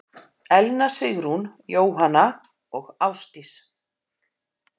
Elna Sigrún, Jóhanna og Ásdís.